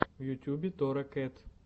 в ютюбе тора кэт